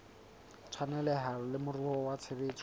tshwaneleha le moruo wa tshebetso